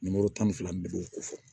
Nimoro tan ni fila n bɛɛ b'o ko fɔ